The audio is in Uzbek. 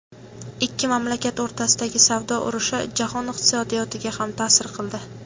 Ikki mamlakat o‘rtasidagi savdo urushi jahon iqtisodiyotiga ham ta’sir qildi.